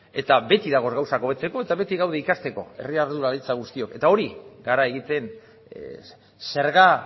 eta beti dago gauzak hobetzeko eta beti gaude ikasteko herri ardura guztiok eta hori gara egiten zerga